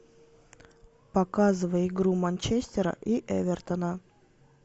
показывай игру манчестера и эвертона